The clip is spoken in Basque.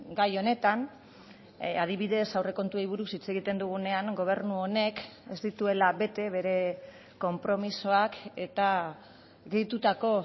gai honetan adibidez aurrekontuei buruz hitz egiten dugunean gobernu honek ez dituela bete bere konpromisoak eta gehitutako